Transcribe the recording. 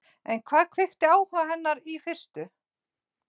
En hvað kveikti áhuga hennar í fyrstu?